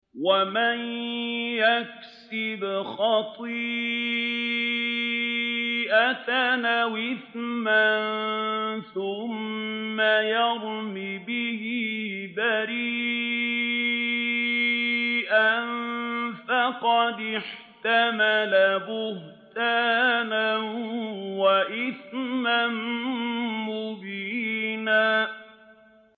وَمَن يَكْسِبْ خَطِيئَةً أَوْ إِثْمًا ثُمَّ يَرْمِ بِهِ بَرِيئًا فَقَدِ احْتَمَلَ بُهْتَانًا وَإِثْمًا مُّبِينًا